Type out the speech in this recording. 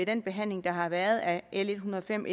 den behandling der har været af l en hundrede og fem